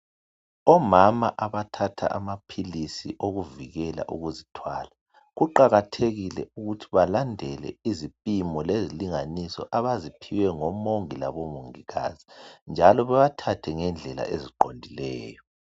Omama abathatha amapilis okuzivikela ukuzithwala, kuqakathekile ukuthi balandele izipimo lezilinganiso abaziphiwe ngo mongi labo ngomongikazi njalo bewathathe ngendlela eziqondileyo.